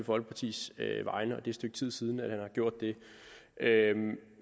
folkepartis vegne og at det stykke tid siden at han har gjort det